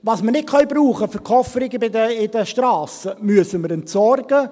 Was wir nicht verwenden können für Kofferungen in den Strassen, müssen wir entsorgen.